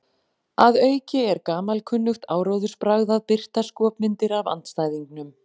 Að auki er gamalkunnugt áróðursbragð að birta skopmyndir af andstæðingnum.